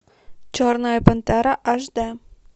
черная пантера аш д